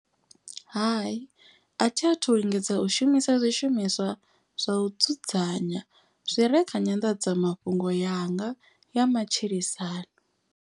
Hai a thi athu lingedza u shumisa zwishumiswa zwa u dzudzanya. Zwire kha nyandadzamafhungo yanga ya matshilisano.